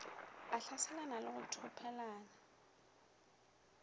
a hlaselane le go thopelana